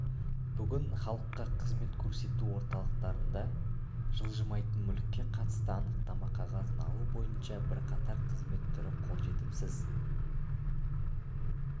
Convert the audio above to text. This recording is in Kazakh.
бүгін халыққа қызмет көрсету орталықтарында жылжымайтын мүлікке қатысты анықтама қағазын алу бойынша бірқатар қызмет түрі қолжетімсіз